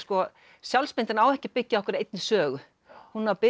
sjálfsmyndin á ekki að byggja á einhverri einni sögu hún á